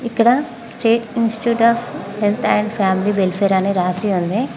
ఇక్కడ state institute of health and family welfare అని రాసి ఉంది.